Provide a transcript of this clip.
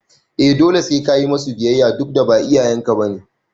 eh dole sai kayi musu biyayya dudda ba iyayen ka bane